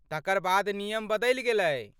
तकर बाद नियम बदलि गेलै।